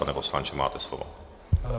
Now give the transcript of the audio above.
Pane poslanče, máte slovo.